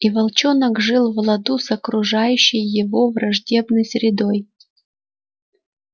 и волчонок жил в ладу с окружающей его враждебной средой